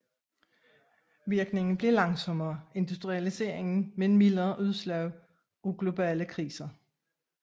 Virkningen blev langsommere industrialisering men mildere udslag af globale kriser